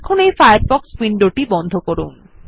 এখন এই ফায়ারফক্স উইন্ডোটি বন্ধ করুন